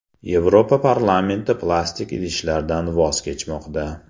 Yevropa parlamenti plastik idishlardan voz kechmoqda.